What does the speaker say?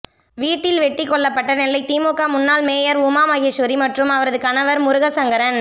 வீட்டில் வெட்டிக் கொல்லப்பட்ட நெல்லை திமுக முன்னாள் மேயர் உமா மகேஸ்வரி மற்றும் அவரது கணவர் முருகசங்கரன்